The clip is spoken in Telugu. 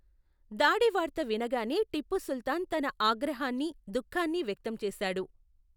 దాడి వార్త వినగానే టిప్పు సుల్తాన్ తన ఆగ్రహాన్ని, దుఃఖాన్ని వ్యక్తం చేశాడు.